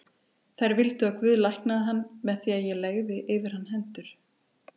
Þær vildu að Guð læknaði hann með því að ég legði yfir hann hendur.